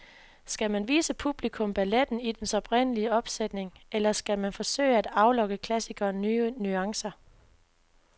Skal man vise publikum balletten i dens oprindelige opsætning, eller skal man forsøge at aflokke klassikeren nye nuancer?